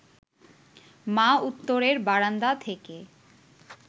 মা উত্তরের বারান্দা থেকে